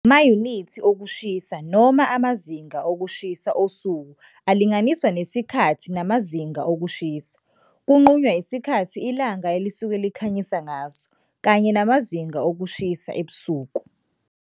Mayunithi okushisa noma amazinga okushisa osuku alinganiswa nesikhathi namazinga okushisa kunqunywa yisikhathi ilanga elisuke likhanyise ngaso kanye namazinga okushisa ebusuku nasemini.